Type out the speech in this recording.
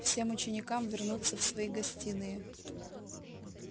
всем ученикам вернуться в свои гостиные